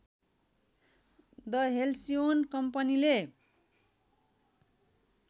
the Halcyon कम्पनीले